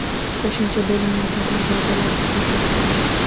Qo‘shimcha bo‘limlarda darvozalar daxlsiz qoldi.